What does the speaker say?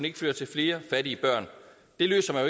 ikke føre til flere fattige børn det løser man